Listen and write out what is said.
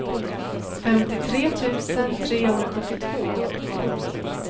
femtiotre tusen trehundrasjuttiotvå